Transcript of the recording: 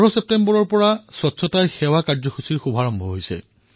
১৫ ছেপ্টেম্বৰৰ পৰা স্বচ্ছতা হি সেৱা অভিযানৰ শুভাৰম্ভ কৰা হৈছে